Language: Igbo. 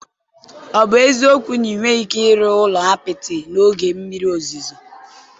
Ọ bụ eziokwu na ị nweghị ike ịrụ ụlọ apịtị n'oge mmiri ozuzo?